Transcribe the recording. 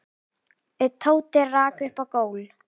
Tóti rak upp gól.